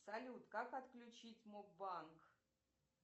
салют как отключить моб банк